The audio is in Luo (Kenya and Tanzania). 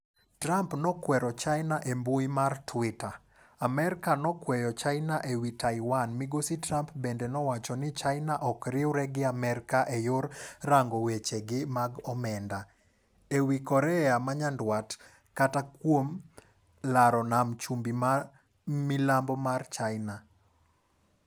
Trump nokwero China e mbui mar Twitter. Amerka nokweyo China ewi Taiwan migosi Trump bende nowacho ni China ok riwre gi Amerka e yor rango wechegi mag omenda, ewi Korea manyandwat kata kuom laro nam chumbi ma milambo mar China.